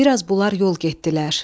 Biraz bunlar yol getdilər.